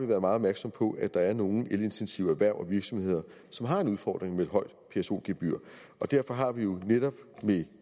været meget opmærksomme på at der er nogle elintensive erhverv og virksomheder som har en udfordring med et højt pso gebyr og derfor har vi jo netop med